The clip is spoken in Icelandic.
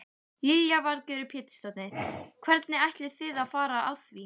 Lillý Valgerður Pétursdóttir: Hvernig ætlið þið að fara að því?